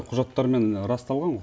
құжаттармен расталған ғой